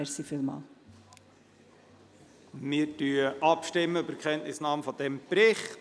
Wir kommen zur Abstimmung über die Kenntnisnahme dieses Berichts.